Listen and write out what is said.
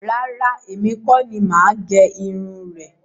Rárá, èmi kọ́ ni máa gé irun rẹ̀